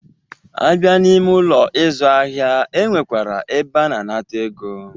A bịa n'ime Ụlọ ịzụ ahịa, e nwekwara ebe a na-anata ego.